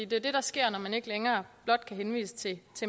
det er det der sker når man ikke længere blot kan henvise til